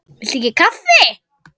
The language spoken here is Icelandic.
Viltu ekki kaffi?